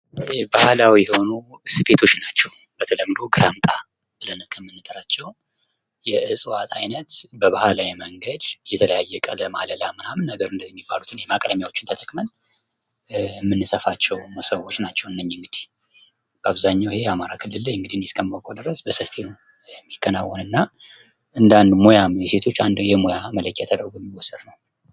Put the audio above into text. ይሄ ባህላዊ የሆኑ ሶፌቶች ናቸዉ። በተለምዶ ግራምጣ ብለን ከምንጠራቸዉ የእፅዋት አይነት በባህላዊ መንገድ የተለያዩ ቀለም አለላ የተለያየ ማቅለሚያ ተጠቅመን የምንሰፋቸዉ ሞሶቦች ናቸዉ። እነዚህ እንግዲህ በአብዛኛዉ አማራ ክልል እኔ እስከማዉቀዉ በሰፊዉ የሚከናወን እንደ አንድ ሙያ በተለይ በሴቶች የሙያ መለኪያ ተደርጎ የሚከናወን ሙያ ነዉ።